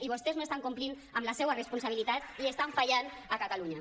i vostès no estan complint amb la seva responsabilitat i estan fallant a catalunya